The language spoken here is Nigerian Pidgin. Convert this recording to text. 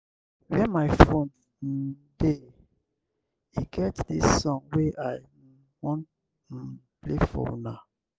where my phone um dey? e get dis song wey i um wan um play for una.